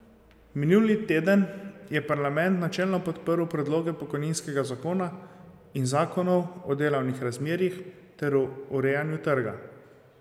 Minuli teden je parlament načelno podprl predloge pokojninskega zakona in zakonov o delovnih razmerjih ter o urejanju trga.